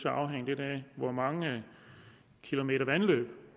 afhænge lidt af hvor mange kilometer vandløb